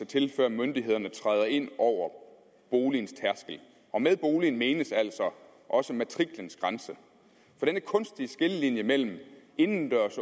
til før myndighederne kan træde ind over boligens tærskel og med boligen menes altså også matriklens grænse for den kunstige skillelinje mellem indendørs